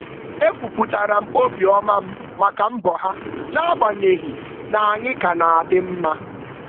E kwupụtara m obi ọma m maka mbọ ha n'agbanyeghị na anyị ka na-adị mma.